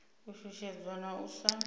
u shushedzwa na u sa